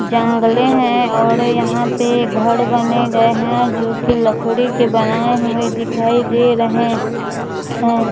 जंगले है और यहां पे घर बने हुए हैं जोकि लकड़ी के बने हुए दिखाई रहे हैं।